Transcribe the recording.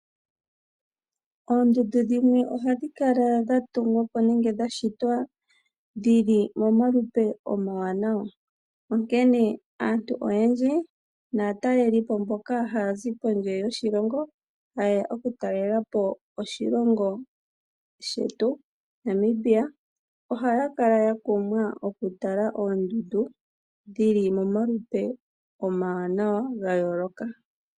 Oondundu dhimwe ohadhi kala dha tungwa po nenge dha shitwa dhi li momalupe omawanawa. Aantu oyendji naatalelipo mboka haya zi kondje yoshilongo, ha yeya oku talela po oshilongo shetu Namibia ohaya kala ya kumwa oku tala oondundu dhi li momalupe omawanawa ga yooloka.